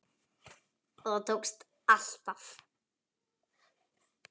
Og það tókst alltaf.